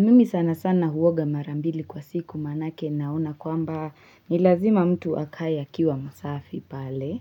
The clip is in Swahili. Mimi sana sana huoga mara mbili kwa siku maanake naona kwamba ni lazima mtu akae akiwa msafi pale.